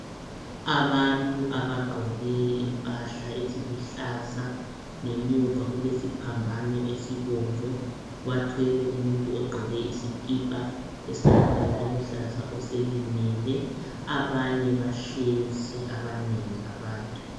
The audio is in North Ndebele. abantu abagqoke impahla eziluhlaza ngemuva kulesiphamabano esibomvu bathwele umuntu ogqoke isikipa esilombala oluhlaza oselimele abanye bahlezi abanengi abantu